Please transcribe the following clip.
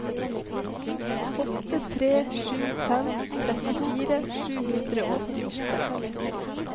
åtte tre sju fem trettifire sju hundre og åttiåtte